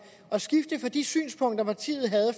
at skifte fra de synspunkter partiet havde